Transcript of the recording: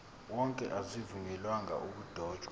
wonke azivunyelwanga ukudotshwa